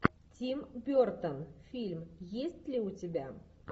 тим бертон фильм есть ли у тебя